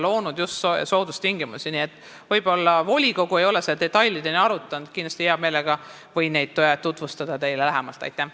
Võib-olla ei ole volikogu seda detailideni arutanud, hea meelega võin neid teile lähemalt tutvustada.